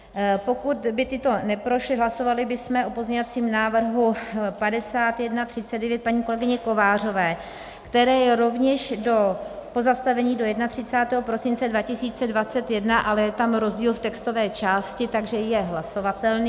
Pokud by tyto neprošly, hlasovali bychom o pozměňovacím návrhu 5139 paní kolegyně Kovářové, které je rovněž pozastavení do 31. prosince 2021, ale je tam rozdíl v textové části, takže je hlasovatelný.